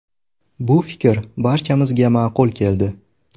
Bu fikr barchamizga ma’qul keldi.